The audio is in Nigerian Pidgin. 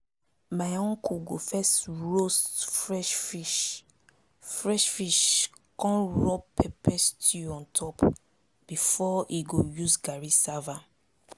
my uncle go first roast fresh fish fresh fish con rub pepper stew on top before he go use garri serve am